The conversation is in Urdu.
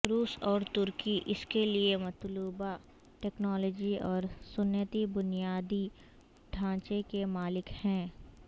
روس اور ترکی اس کے لیے مطلوبہ ٹیکنالوجی اور صنعتی بنیادی ڈھانچے کے مالک ہیں